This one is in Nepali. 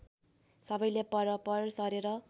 सबैले परपर सरेर